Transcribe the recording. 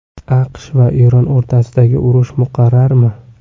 AQSh va Eron o‘rtasidagi urush muqarrarmi?